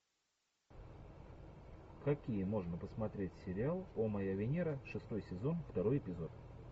какие можно посмотреть сериал о моя венера шестой сезон второй эпизод